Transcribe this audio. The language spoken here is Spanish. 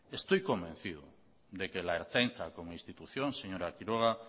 estoy convencido de que la ertzaintza como institución señora quiroga